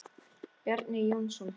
Bjarni Jónsson